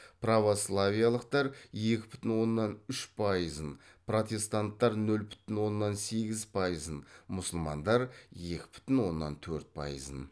православиялықтар екі бүтін оннан үш пайызын протестанттар нөл бүтін оннан сегіз пайызын мұсылмандар екі бүтін оннан төрт пайызын